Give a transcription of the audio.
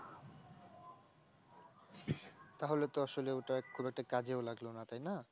তাহলে তো আসলে ওটা খুব একটা কাজেও লাগলো না, তাই না?